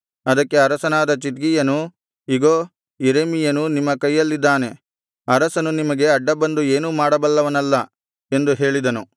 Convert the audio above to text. ಅದಕ್ಕೆ ಅರಸನಾದ ಚಿದ್ಕೀಯನು ಇಗೋ ಯೆರೆಮೀಯನು ನಿಮ್ಮ ಕೈಯಲ್ಲಿದ್ದಾನೆ ಅರಸನು ನಿಮಗೆ ಅಡ್ಡಬಂದು ಏನೂ ಮಾಡಬಲ್ಲವನಲ್ಲ ಎಂದು ಹೇಳಿದನು